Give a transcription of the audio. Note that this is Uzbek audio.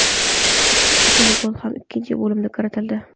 Ikkala gol ham ikkinchi bo‘limda kiritildi.